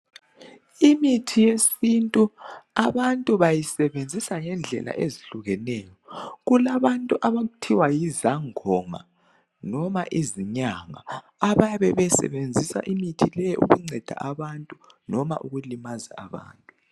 Imithi yesintu abantu bayisebenzisa ngendlela ezihlukeneyo. Kulabantu abathiwa yizangoma noma izinyanga abayabe besebenzisa imithi leyi ukunceda abantu noma ukulimaza abantu.